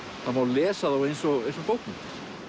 það má lesa þá eins og bókmenntir